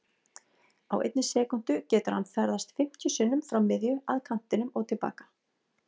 Á einni sekúndu getur hann ferðast fimmtíu sinnum frá miðju, að kantinum og til baka.